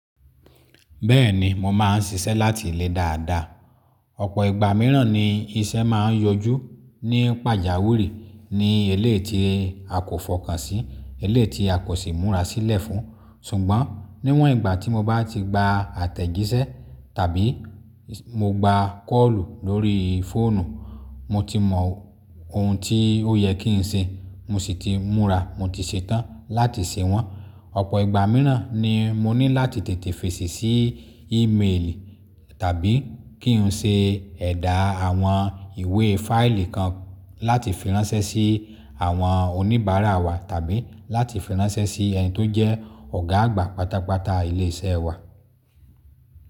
Bẹ́ẹ̀ni, mo máa ń ṣiṣẹ́ láti ilé dáadáa. Ọ̀pọ̀ ìgbà mìíràn ni iṣẹ́ máa ń yọjú ní pàjáwìrì ní eléyi ti a kò fọkàn sí, eléyi ti a kò sì múra sílẹ̀ fún. Ṣùgbọ́n níwọ̀n ìgbà tí mo bá ti gba àtẹ̀jíṣẹ́ tàbí mo gba kọ́ọ̀lù lórí fóònù, mo ti mọ ohun tí ó yẹ kí n ṣe, mo sì ti múra, mo ti ṣetán láti ṣe wọ́n. Ọ̀pọ̀ ìgbà mìíràn ni mo ní láti tètè fèsì sí ímeèlì tàbí kí n ṣe ẹ̀dà àwọn ìwé fáìlì kan láti fi ránṣẹ́ sí àwọn oníbàárà wa tàbí láti fi ránṣẹ́ sí ẹni tó jẹ́ ọ̀gá àgbà pátápátá ilé iṣẹ́ wa.